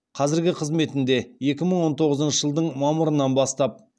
қазіргі қызметінде екі мың он тоғызыншы жылдың мамырынан бастап